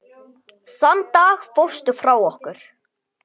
Þann dag fórstu frá okkur.